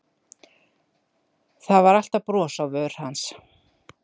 Það var alltaf bros á vör hans.